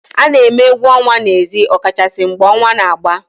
A na-eme egwu ọnwa n'ezi ọ kachasị mgbe ọnwa na-agba